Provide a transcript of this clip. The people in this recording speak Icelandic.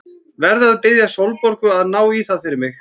Verð að biðja Sólborgu að ná í það fyrir mig.